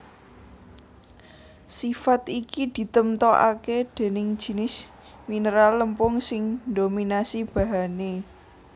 Sifat iki ditemtokaké déning jinis mineral lempung sing ndominasi bahané